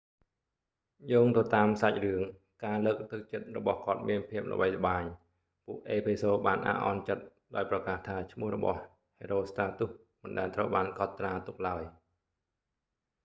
យោងទៅតាមសាច់រឿង ការលើកទឹកចិត្តរបស់គាត់មានភាពល្បីល្បាញ ពួកអេភេសូរបានអាក់អន់ចិត្តដោយប្រកាសថាឈ្មោះរបស់ herostratus មិនដែលត្រូវបានកត់ត្រាទុកឡើយ